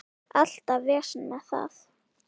Alltaf vesen með það.